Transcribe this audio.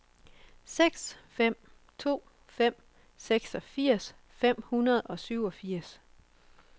seks fem to fem seksogfirs fem hundrede og syvogfirs